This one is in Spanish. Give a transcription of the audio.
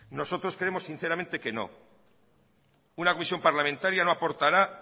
nosotros creemos sinceramente que no una comisión parlamentaria no aportará